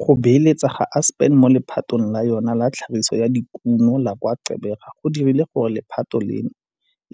Go beeletsa ga Aspen mo lephateng la yona la tlhagiso ya dikuno la kwa Gqeberha go dirile gore lephata leno